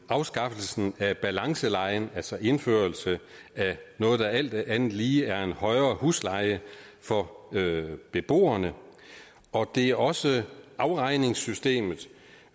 afskaffelsen af balancelejen altså indførelse af noget der alt andet lige er en højere husleje for beboerne og det er også afregningssystemet